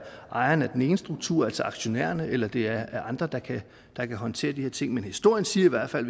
ejeren af den ene struktur altså aktionærerne eller det er andre der der kan håndtere de her ting men historien siger i hvert fald